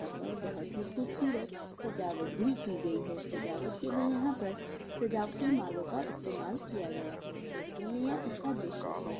यहाँ पर बहोत ही खूबसूरत सजावट भी की गयी है सजावट के लिए यहाँ पर सजावटी मालो का इस्तामाल किया गया है देखने में यह अच्छा दृश्य है।